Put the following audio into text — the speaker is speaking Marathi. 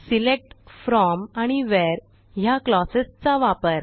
सिलेक्ट फ्रॉम आणि व्हेअर ह्या क्लॉजेस चा वापर